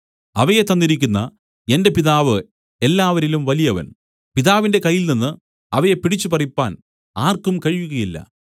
അവയെ തന്നിരിക്കുന്ന എന്റെ പിതാവ് എല്ലാവരിലും വലിയവൻ പിതാവിന്റെ കയ്യിൽ നിന്നു അവയെ പിടിച്ചുപറിപ്പാൻ ആർക്കും കഴിയുകയില്ല